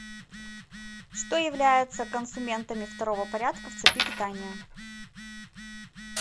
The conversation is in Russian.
что является консументами второго порядка в цепи питания